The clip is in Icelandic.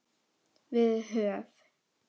Við höf